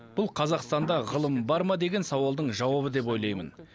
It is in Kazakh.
бұл қазақстанда ғылым бар ма деген сауалдың жауабы деп ойлаймын